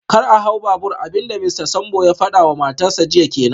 Kar a hau babur, abin da Mista Sambo ya fada wa matarsa ​​jiya kenan